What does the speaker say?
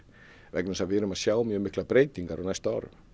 vegna þess að við erum að sjá miklar breytingar á næstu árum